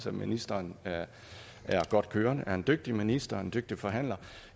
at ministeren er godt kørende at hun er en dygtig minister og en dygtig forhandler og